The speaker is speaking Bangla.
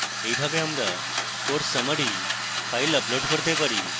এইভাবে আমরা course summary files upload করতে পারি